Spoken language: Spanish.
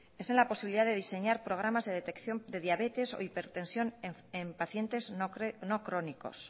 es en la posibilidad de diseñar programas de detección de diabetes o de hipertensión en pacientes no crónicos